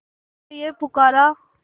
तुझे है पुकारा